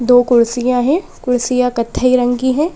दो कुर्सियां है कुर्सियां कत्थई रंग की है।